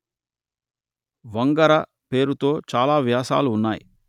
వంగర పేరుతో చాలా వ్యాసాలు ఉన్నాయి